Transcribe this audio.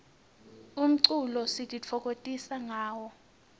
umculo sititfokokotisa ngawo